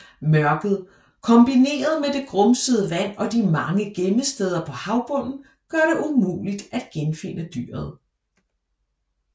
Mørket kombineret med det grumsede vand og de mange gemmesteder på havbunden gør det umuligt at genfinde dyret